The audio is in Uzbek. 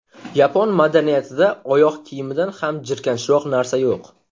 Yapon madaniyatida oyoq kiyimidan ham jirkanchroq narsa yo‘q.